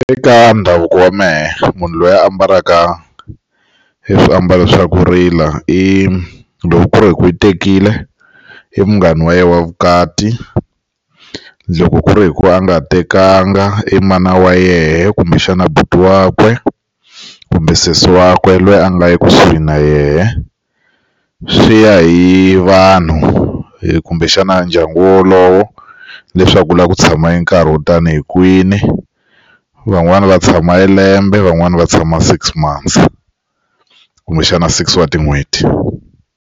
Eka ndhavuko wa mehe munhu loyi a ambalaka swiambalo swa ku rila i loko ku ri hi ku i tekile i munghana wa ye wa vukati loko ku ri hi ku a nga tekanga i mana wa yehe kumbexana buti wakwe kumbe sesi wakwe loyi a nga le kusuhi na yehe swi ya hi vanhu kumbexana ndyangu wolowo leswaku u lava ku tshama nkarhi wo tani hi kwini van'wani va tshama elembe van'wani va tshama six months kumbexana six wa tin'hweti.